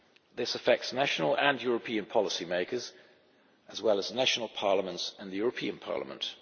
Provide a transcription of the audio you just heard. This affects national and European policy makers, as well as national parliaments and the European Parliament.